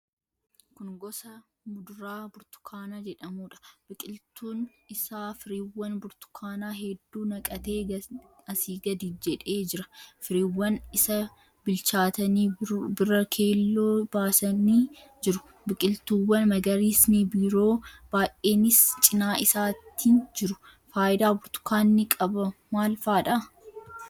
Kun gosa muduraa burtukaana jedhamuudha. Biqiltuun isaa firiiwwan burtukaanaa hedduu naqatee asii gadi jedhee jira. Firiiwwan isa bilchaatanii bira keelloo baasanii jiru. Biqiltuuwwan magariisni biroo baay'eenis cina isaatiin jiru. Faayidaa burtukaanni qaba maal faadha?